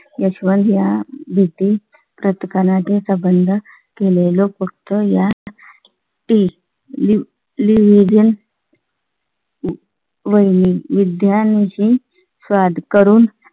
यशवंत ह्या भीती संबंध केले लोक फक्त या तील legend वैरी विज्ञान विषयी साद करून